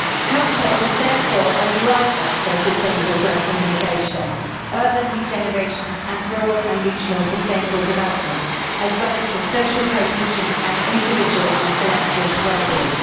Culture is therefore a driver for sustainable growth and innovation, urban regeneration and rural and regional sustainable development, as well as for social cohesion and individual and collective well being.